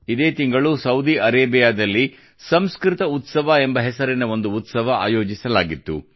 ಇದೇ ತಿಂಗಳು ಸೌದಿ ಅರೇಬಿಯಾದಲ್ಲಿ ಸಂಸ್ಕೃತ ಉತ್ಸವ ಎಂಬ ಹೆಸರಿನ ಒಂದು ಉತ್ಸವ ಆಯೋಜಿಸಲಾಗಿತ್ತು